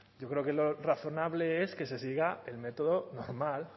yo creo que lo razonable es que se siga el método normal